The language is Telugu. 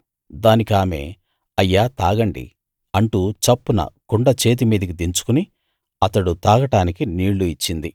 దానికామె అయ్యా తాగండి అంటూ చప్పున కుండ చేతిమీదికి దించుకుని అతడు తాగడానికి నీళ్ళు ఇచ్చింది